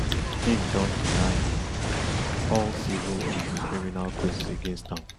im don deny all civil and criminal claims against am